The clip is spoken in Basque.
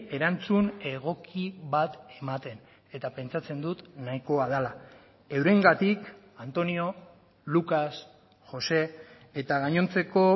erantzun egoki bat ematen eta pentsatzen dut nahikoa dela eurengatik antonio lucas josé eta gainontzeko